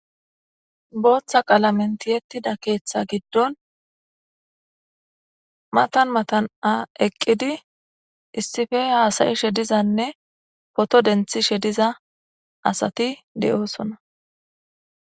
booththa qalamentiyettida keeththa giddon matan matan7a eqqidi issife haasayi shedizanne poto denthi shediza asati de7oosona